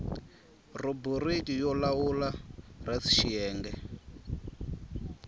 rhubiriki yo lawula res xiyenge